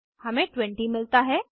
हमें 20 मिलता है